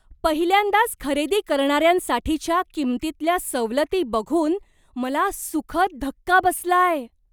पहिल्यांदाच खरेदी करणाऱ्यांसाठीच्या किंमतीतल्या सवलती बघून मला सुखद धक्का बसलाय.